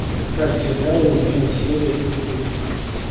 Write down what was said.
искать сериал измены серия девятнадцать